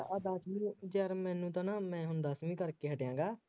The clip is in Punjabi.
ਆਹ ਦੱਸਵੀਂ ਯਾਰ ਮੈਨੂੰ ਤਾਂ ਨਾ ਮੈਂ ਹੁਣ ਦੱਸਵੀ ਕਰਕੇ ਹਟਿਆ ਹੈਗਾ